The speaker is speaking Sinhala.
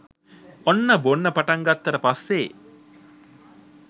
ඔන්න බොන්න පටන් ගත්තට පස්සෙ